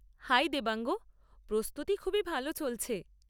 High Devang! প্রস্তুতি খুবই ভাল চলছে।